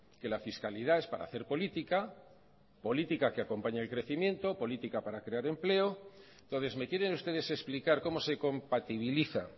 que la fiscalidad es para hacer política política que acompaña el crecimiento política para crear empleo entonces me quieren ustedes explicar cómo se compatibiliza